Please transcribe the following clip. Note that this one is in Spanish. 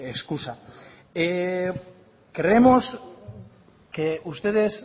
escusa creemos que ustedes